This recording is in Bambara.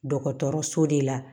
Dɔgɔtɔrɔso de la